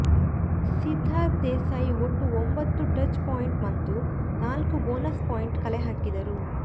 ಸಿದ್ಧಾರ್ಥ ದೇಸಾಯಿ ಒಟ್ಟು ಒಂಬತ್ತು touch point ಮತ್ತು ನಾಲ್ಕು ಬೋನಸ್ ಪಾಯಿಂಟ್ ಕಲೆ ಹಾಕಿದರು